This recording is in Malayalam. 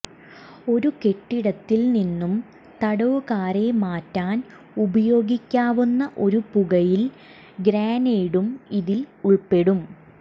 ഒരു കെട്ടിടത്തിൽ നിന്നും തടവുകാരെ മാറ്റാൻ ഉപയോഗിക്കാവുന്ന ഒരു പുകയിൽ ഗ്രനേഡും ഇതിൽ ഉൾപ്പെടുന്നു